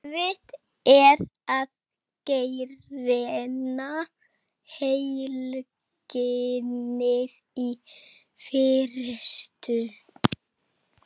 Erfitt er að greina heilkennið í fyrstu.